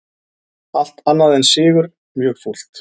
Allt annað en sigur mjög fúlt